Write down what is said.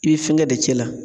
I bɛ fɛngɛ de cɛ la